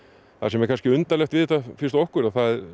sem er kannski undarlegt við þetta finnst okkur að það